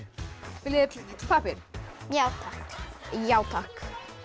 viljið þið pappír já takk já takk